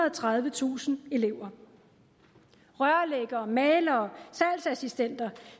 og tredivetusind elever rørlæggere malere og salgsassistenter